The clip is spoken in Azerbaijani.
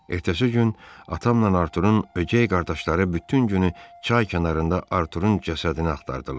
Ertəsi gün atamla Artur'un ögey qardaşları bütün günü çay kənarında Artur'un cəsədini axtardılar.